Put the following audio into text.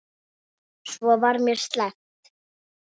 Svo var mér sleppt.